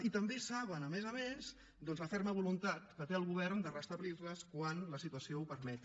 i també saben a més a més doncs la ferma voluntat que té el govern de restablirles quan la situació ho permeti